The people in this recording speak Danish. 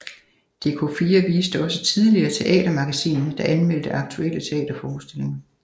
Dk4 viste også tidligere Teatermagasinet der anmeldte aktuelle teaterforestillinger